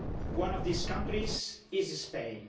One of these countries is Spain.